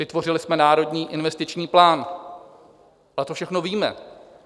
Vytvořili jsme Národní investiční plán, ale to všechno víme.